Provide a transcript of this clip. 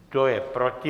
Kdo je proti?